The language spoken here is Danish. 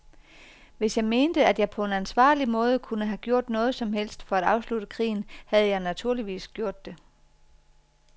Hvis jeg mente, at jeg på en ansvarlig måde kunne have gjort noget som helst for at afslutte krigen, havde jeg naturligvis gjort det.